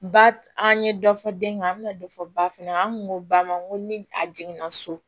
Ba an ye dɔ fɔ den kan an bɛ na dɔ fɔ ba fana an kun ko ba ma n ko ni a jiginna so